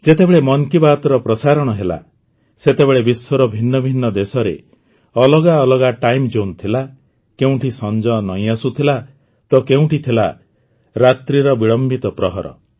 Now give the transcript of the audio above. ଯେତେବେଳେ ମନ୍ କି ବାତ୍ର ପ୍ରସାରଣ ହେଲା ସେତେବେଳେ ବିଶ୍ୱର ଭିନ୍ନ ଭିନ୍ନ ଦେଶରେ ଅଲଗା ଅଲଗା ଟାଇମ୍ ଜୋନ୍ ଥିଲା କେଉଁଠି ସଞ୍ଜ ନଇଁ ଆସୁଥିଲା ତ କେଉଁଠି ଥିଲା ରାତ୍ରିର ବିଳମ୍ବିତ ପ୍ରହର